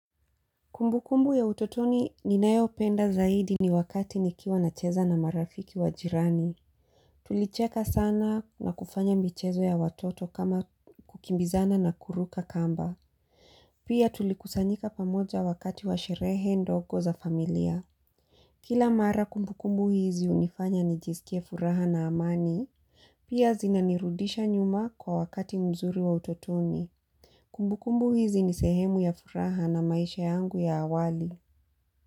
Kumbu kumbu ya utotoni ninayopenda zaidi ni wakati nikiwa nacheza na marafiki wa jirani. Tulicheka sana na kufanya michezo ya watoto kama kukimbizana na kuruka kamba. Pia tulikusanyika pamoja wakati wa sherehe ndogo za familia. Kila mara kumbu kumbu hizi hunifanya nijiskie furaha na amani. Pia zinanirudisha nyuma kwa wakati mzuri wa utotoni. Kumbu kumbu hizi nisehemu ya furaha na maisha yangu ya awali.